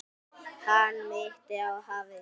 Hann minnti á hafið.